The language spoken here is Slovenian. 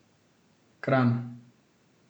Kranj.